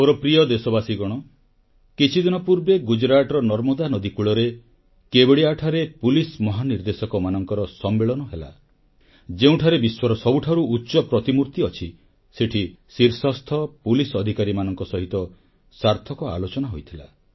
ମୋର ପ୍ରିୟ ଦେଶବାସୀଗଣ କିଛିଦିନ ପୂର୍ବେ ଗୁଜରାଟର ନର୍ମଦା ନଦୀକୂଳରେ କେବଡ଼ିଆଠାରେ ପୁଲିସ ମହାନିର୍ଦେଶକମାନଙ୍କର ସମ୍ମେଳନ ହେଲା ଯେଉଁଠାରେ ବିଶ୍ୱର ସବୁଠାରୁ ଉଚ୍ଚ ପ୍ରତିମୂର୍ତ୍ତି ଅଛି ସେଠି ଶୀର୍ଷସ୍ଥ ପୁଲିସ ଅଧିକାରୀମାନଙ୍କ ସହିତ ସାର୍ଥକ ଆଲୋଚନା ହୋଇଥିଲା